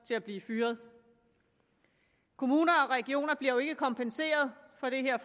til at blive fyret kommuner og regioner bliver jo ikke kompenseret for det her